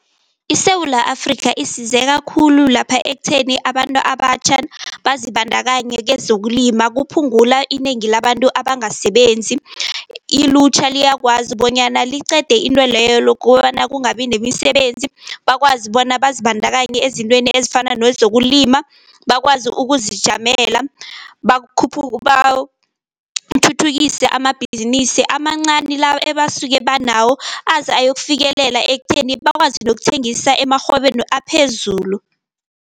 ISewula Afrika isizeka khulu lapha ekutheni abantu abatjha bazibandakanye kezokulima, kuphungula inengi labantu abangasebenzi. Ilutjha liyakwazi bonyana liqede intweleyo lokobana kungabi nemisebenzi, bakwazi bona bazibandakanye ezintweni ezifana nezokulima bakwazi ukuzijamela, bathuthukise amabhizinisi amancani la ebasuke banawo, aze ayokufikelela ekutheni bakwazi nokuthengisa emarhwebeni aphezulu.